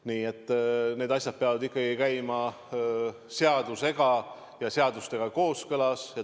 Nii et need asjad peavad käima seadusega kooskõlas.